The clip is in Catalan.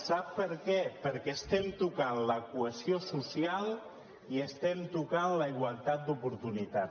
sap per què perquè estem tocant la cohesió social i estem tocant la igualtat d’oportunitats